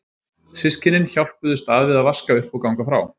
Systkynin hjálpuðust að við að vaska upp og ganga frá.